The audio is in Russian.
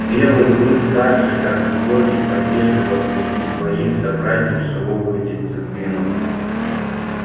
белый клык так же как и боги поддерживал среди своих собратьев суровую дисциплину